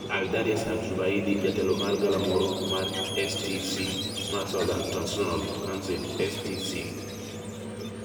Aidarus al Zubaidi, jatelo mar galamoro mar STC mar Southern Transitional Council STC,